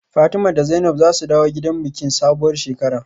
Fatima da Zainab zasu dawo gida bikin sabuwar shekara